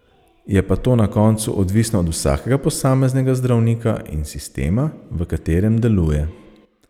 Je pa to na koncu odvisno od vsakega posameznega zdravnika in sistema, v katerem deluje.